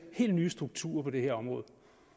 helt nye strukturer på det her område